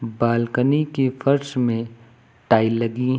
Balcony के फर्श में टाइल लगी हैं।